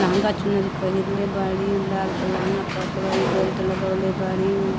लहंगा चुनरी पहिरले बाड़ी। उ लाल क लहंगा पहिरले बाड़ी। बेल्ट लगवले बाड़ी उ।